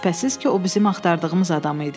Şübhəsiz ki, o bizim axtardığımız adam idi.